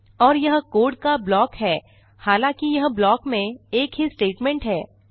और यह कोड का ब्लॉक है हालाँकि यह ब्लॉक में एक ही स्टेटमेंट है